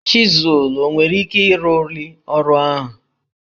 Chịzụl o nwere ike ịrụli ọrụ ahụ?